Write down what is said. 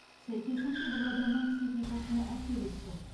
сәйкесінше бұл адамның психикасына әсер етті